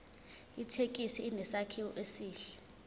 ithekisi inesakhiwo esihle